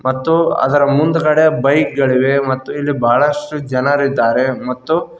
ಮತ್ತು ಅದರ ಮುಂದುಗಡೆ ಬೈಕ್ ಗಳಿವೆ ಮತ್ತು ಇಲ್ಲಿ ಬಹಳಷ್ಟು ಜನರಿದ್ದಾ.